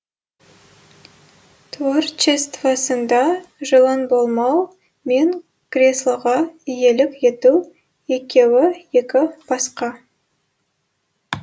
творчествосында жұлын болмау мен креслоға иелік ету екеуі екі басқа